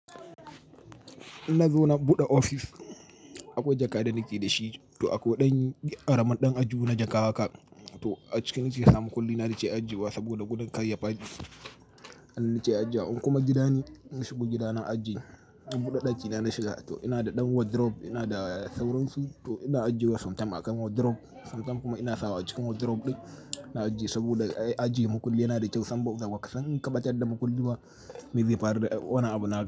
Na zo na buɗe ofis. Akwai jaka da nake da shi to akwai ɗan ƙaramin ɗan aljihu na jaka haka. To a ciki na ke sa mukullina na ke ajiye wa saboda gudan karya ɓalle. Nan na ke ajiyewa in kuma gidane, nashigo gida na ajiye. Na buɗe ɗaki na na shiga to ina da ɗan wardrobe, ina da sauransu to ina ajiye wa sometime musamman a kan wardrobe. Some time kuma ina sa wa acikin wardrobe ɗin na ajiye saboda ajiye makulli yana da kyau. Sam ba kasan, San kaɓatar da makulliba, me zai faru da wani abu naka?